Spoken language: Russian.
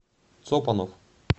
цопанов